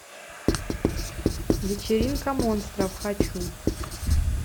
вечеринка монстров хочу